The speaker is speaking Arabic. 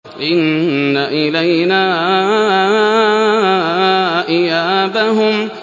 إِنَّ إِلَيْنَا إِيَابَهُمْ